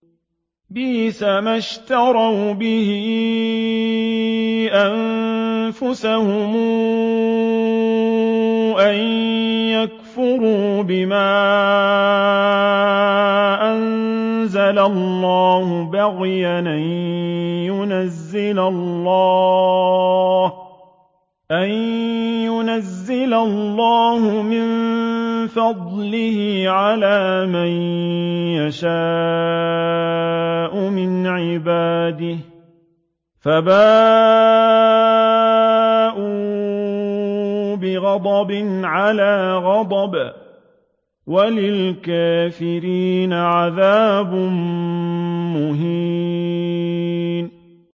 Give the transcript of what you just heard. بِئْسَمَا اشْتَرَوْا بِهِ أَنفُسَهُمْ أَن يَكْفُرُوا بِمَا أَنزَلَ اللَّهُ بَغْيًا أَن يُنَزِّلَ اللَّهُ مِن فَضْلِهِ عَلَىٰ مَن يَشَاءُ مِنْ عِبَادِهِ ۖ فَبَاءُوا بِغَضَبٍ عَلَىٰ غَضَبٍ ۚ وَلِلْكَافِرِينَ عَذَابٌ مُّهِينٌ